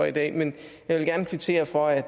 i dag men jeg vil gerne kvittere for at